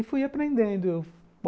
E fui aprendendo.